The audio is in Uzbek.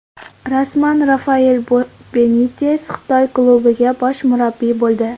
Rasman: Rafael Benites Xitoy klubiga bosh murabbiy bo‘ldi.